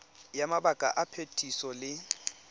ya mabaka a phetiso le